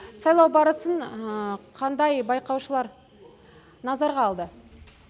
сайлау барысын қандай байқаушылар назарға алды